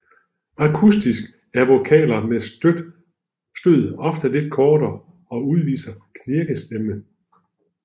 Akustisk er vokaler med stød ofte lidt kortere og udviser knirkestemme